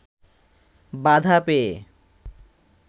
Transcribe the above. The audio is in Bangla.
বাধা পেয়ে